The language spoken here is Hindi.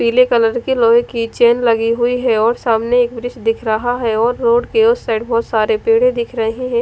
पीले कलर के लोहे की चेन लगी हुई है और सामने एक व्रिस दिख रहा है और रोड के उस साइड बोहोत सारे पेड़ दिख रहे है।